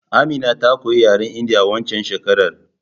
Amina ta koyi yaren indiya waccan shekerar